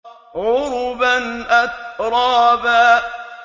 عُرُبًا أَتْرَابًا